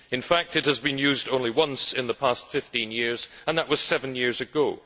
in fact it has been used only once in the past 15 years and that was seven years ago.